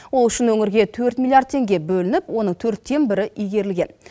ол үшін өңірге төрт миллиард теңге бөлініп оның төрттен бірі игерілген